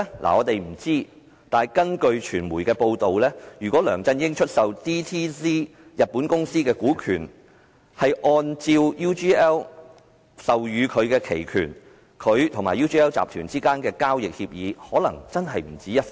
我們不知道，但據傳媒報道，如果梁振英出售日本公司 DTZ 的股權，是按照 UGL 授予他的期權，他和 UGL 集團之間的交易協議可能真的不止一份。